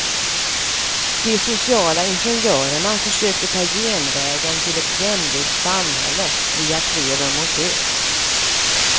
De sociala ingenjörerna försökte ta genvägen till ett jämlikt samhälle via tre rum och kök.